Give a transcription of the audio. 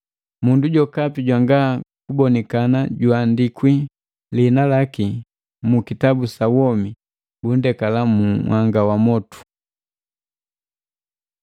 Mundu jokapi jwanga kubonikana juandikwa liinalaki mu kitabu sa womi, bunndekala mu nhanga gwa motu.